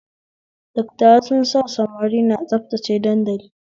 Dattawa sun sa samari na tsabtace dandali